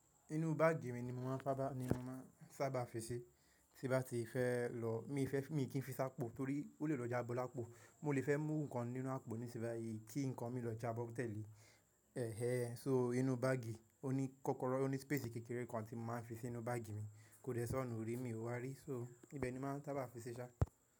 Inú báàgì mi ni mo máa ń sábà fi ṣi, tí bá ti fẹ́ lọ. Èmi kì í fi s'ápó torí ó lè lọ jábọ l'ápò. Mo lè fẹ́ mú ǹkan nínú àpò nísin bayìí, kí nǹkan mi lọ jábọ́ tẹ̀lé. Inú báàgì, ó ní kòkòrò, ó ní spési kékeré kan tí mo máa ń fi sí ninú báàgì mi. Kò dẹ́ sọ́nù rí, mi wá rí. Ibẹ̀ ni mo máa ń sábà fi ṣe ṣá.